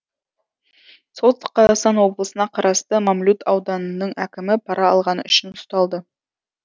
солтүстік қазақстан облысына қарасты мамлют ауданының әкімі пара алғаны үшін ұсталды